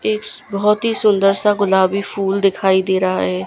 एक बहोत ही सुंदर सा गुलाबी फूल दिखाई दे रहा है।